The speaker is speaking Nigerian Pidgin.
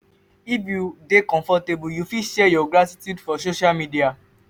if you dey comfortable you fit share your gratitude for social media